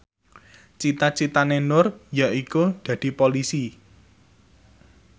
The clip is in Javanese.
cita citane Nur yaiku dadi Polisi